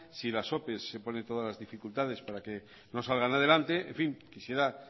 si en las ope se pone todas las dificultades para que no salgan adelante en fin quisiera